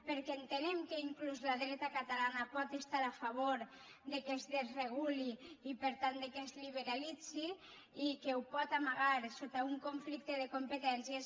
perquè entenem que inclús la dreta catalana pot estar a favor que es desreguli i per tant que es liberalitzi i que ho pot amagar sota un conflicte de competències